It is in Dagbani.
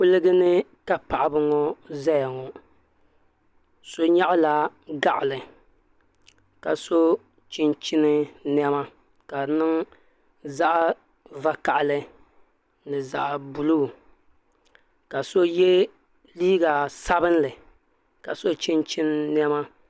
Kuligani ka Paɣaba ŋɔ zaya ŋɔ so nyaɣala gaɣali ka so chinchini niɛma ka di niŋ zaɣa vakahali ni zaɣa buluu ka so ye liiga sabinli ka so chinchini niɛma.